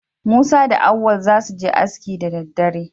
Musa da Auwal za su je aski da daddare.